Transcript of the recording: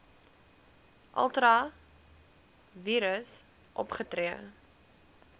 ultra vires opgetree